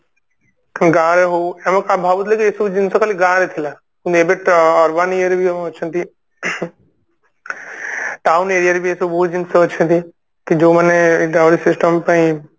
ଗାଁ ରେ ହଉ ଆମେ ଆମେ ଭାବୁଥିଲୁ କି ଏଇ ସବୁ ଜିନିଷ ଖାଲି ଗାଁ ରେ ଥିଲା କିନ୍ତୁ ଏବେ urban ଇଏରେ ବି ଅଛନ୍ତି ing town area ରେ ବି ଏ ସବୁ ବହୁତ ଜିନିଷ ଅଛନ୍ତି କି ଯୋଉ ମାନେ Dowry system ପାଇଁ